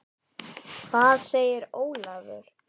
Hvað segir Ólafur?